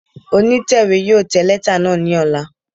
Onitẹwe yóò tẹ lẹta naa ni ọla